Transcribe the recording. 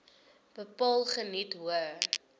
bepaal geniet hoë